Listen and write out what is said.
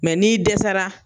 Mɛ n'i dɛsɛra,